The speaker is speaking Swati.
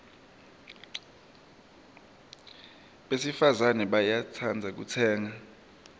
besifazane bayatsandza kutsenga